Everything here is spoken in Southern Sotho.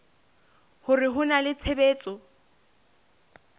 hore ho na le tshebetso